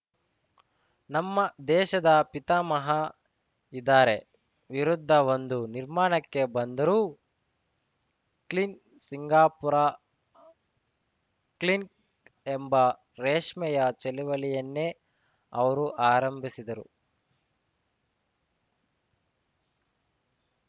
ನಮ್ಮ ದೇಶದ ಪಿತಾಮಹ ಇದಾರೆ ವಿರುದ್ಧ ಒಂದು ನಿರ್ಮಾಣಕ್ಕೆ ಬಂದರು ಕ್ಲೀನ್‌ ಸಿಂಗಾಪುರ ಕ್ಲೀನ್‌ ಎಂಬ ರೇಷ್ಮೆಯ ಚಳವಳಿಯನ್ನೇ ಅವರು ಆರಂಭಿಸಿದರು